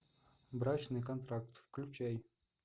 брачный контракт включай